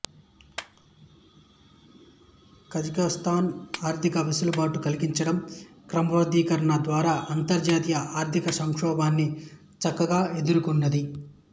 కజకస్తాన్ ఆర్థిక వెసులుబాటు కలిగించడం క్రమబద్ధీకరణ ద్వారా అంతర్జాతీయ ఆర్థికసంక్షోభాన్ని చక్కగా ఎదుర్కొన్నది